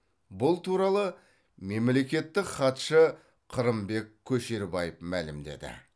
бұл туралы мемлекеттік хатшы қырымбек көшербаев мәлімдеді